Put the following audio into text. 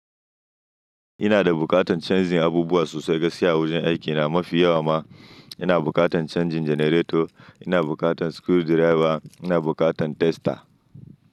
Ina da bukatan canjin abubuwa sosai gaskiya a wurin aiki na mafi yawa ma ina bukatan canjin janareto, ina bukatan screwdriver, ina bukatan tester.